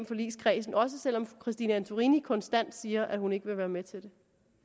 forligskredsen også selv om fru christine antorini konstant siger at hun ikke vil være med til det